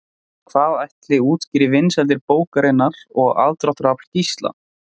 En hvað ætli útskýri vinsældir bókarinnar og aðdráttarafl Gísla?